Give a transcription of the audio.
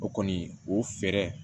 O kɔni o fɛɛrɛ